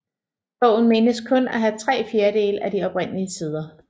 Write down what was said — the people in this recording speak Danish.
Bogen menes kun at have tre fjerdedele af de oprindelige sider